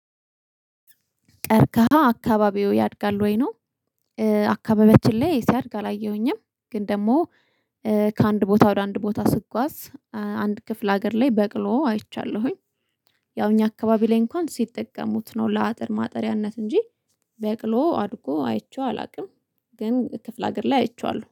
ቀርቀሃ አካባቢዎ ያድጋል ወይ ነው? አካባቢዎችን ላይ ሲያድግ አላየሁኝም ግን ደግሞ ከአንድ ቦታ ወደ አንድ ቦታ ስጓዝ አንድ ክፍለ ሀገር ላይ በቅሎ አይቻለሁኝ። ያው እኛ አካባቢ ላይ እንኳን ሲጠቀሙት ነው ለአጥር ማጠሪያነት እንጂ በቅሎ አድጎ አይቼው አላቅም። ግን ክፍለ ሀገር ላይ አይቼዋለሁ